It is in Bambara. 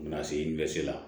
U bɛna se n bɛ se la